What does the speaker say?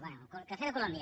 bé cafè de colòmbia